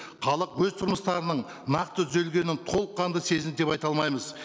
халық өз тұрмыстарының нақты түзелгенін толыққанды сезінді деп айта алмаймыз